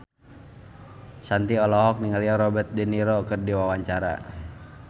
Shanti olohok ningali Robert de Niro keur diwawancara